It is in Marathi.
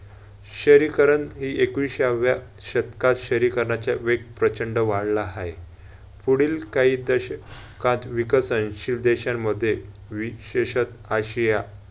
शहरीकरण हि एकविसाव्या शतकात शहरीकरणाचे वेग प्रचंड वाढला हाय. पुढील काही दशकात विकसनशील देशामध्ये आशिया